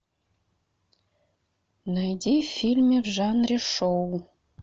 найди фильмы в жанре шоу